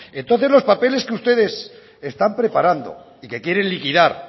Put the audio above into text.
entonces los papeles que ustedes están preparando y que quieren liquidar